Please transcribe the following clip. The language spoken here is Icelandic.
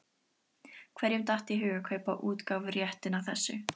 Hverjum datt í hug að kaupa útgáfuréttinn að þessu?